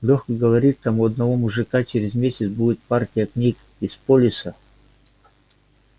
лёха говорит там у одного мужика через месяц будет партия книг из полиса